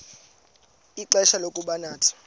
ixfsha lokuba nathi